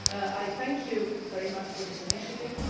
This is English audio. I thank you very much for this initiative.